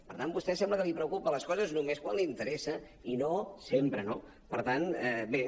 per tant a vostè sembla que li preocupen les coses només quan l’interessa i no sempre no per tant bé